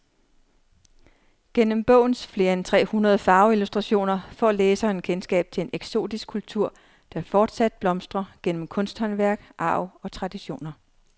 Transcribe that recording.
Gennem bogens flere end tre hundrede farveillustrationer får læseren kendskab til en eksotisk kultur, der fortsat blomstrer gennem kunsthåndværk, arv og traditioner.